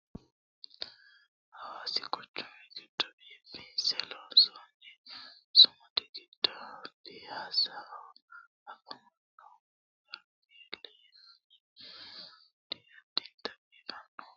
hawaasi quchumi giddo biifinse loonsoonni sumudi giddo piyaassaho afamannohu gebirieli yinanni sumudi addinta biifannohonna duuchu manni hawaasa dayeero footo ka"annowaati